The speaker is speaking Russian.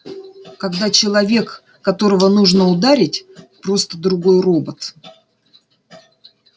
когда человек которого нужно ударить просто другой робот